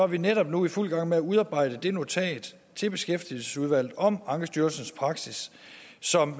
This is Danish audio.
vi netop nu i fuld gang med at udarbejde det notat til beskæftigelsesudvalget om ankestyrelsens praksis som